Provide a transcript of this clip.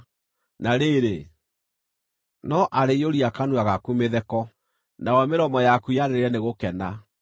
Na rĩrĩ, no arĩiyũria kanua gaku mĩtheko, nayo mĩromo yaku yanĩrĩre nĩ gũkena.